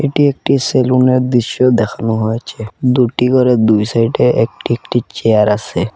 এটি একটি সেলুনের দৃশ্য দেখানো হয়েছে দুটি গরে দুই সাইডে একটি একটি চেয়ার আসে।